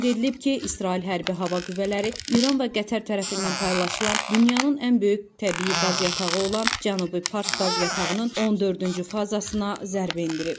Qeyd edilib ki, İsrail hərbi hava qüvvələri İran və Qətər tərəfindən paylaşılan dünyanın ən böyük təbii qaz yatağı olan Cənubi Pars qaz yatağının 14-cü fazasına zərbə endirib.